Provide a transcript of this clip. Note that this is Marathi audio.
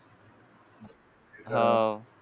हाव